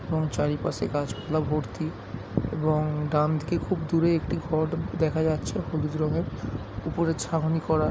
এবং চারিপাশে গাছপালা ভর্তি এবং ডানদিকে খুব দূরে একটি দেখা যাচ্ছে হলুদ রঙের উপরে ছাউনি করা ।